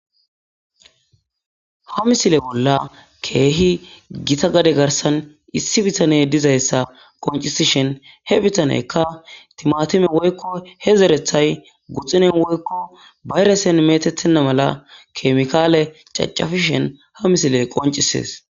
Ha misile bolla kehi gita gade garsan issi bitaney dizaysa qoncisishin he bitaneykka timatime woyko he zerethay guxune woyko bayresen metetena mala chemical cachapishen has misiley qoncises